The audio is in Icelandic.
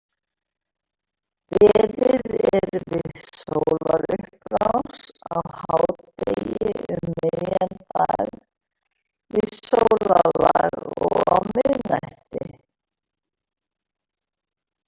Beðið er við sólarupprás, á hádegi, um miðjan dag, við sólarlag og á miðnætti.